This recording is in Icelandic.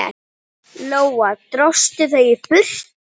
Lóa: Dróstu þau í burtu?